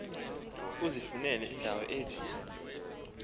uzifunele indawo ethe